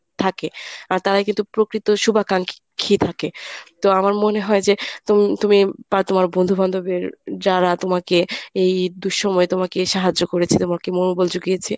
থাকে। আর তারাই কিন্তু প্রকৃত শুভাকাঙ্ক্ষী থাকে। তো আমার মনে হয় যে তুম~ তুমি বা তোমার বন্ধু-বান্ধবের যারা তোমাকে এই দুঃসময়ে তোমাকে সাহায্য করেছে তোমাকে মনোবল যুগিয়েছে